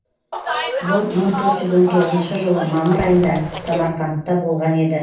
бұл мың төрт жүз он тоғызыншы жылы мамыр айында самарқандта болған еді